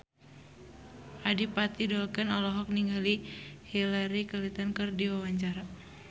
Adipati Dolken olohok ningali Hillary Clinton keur diwawancara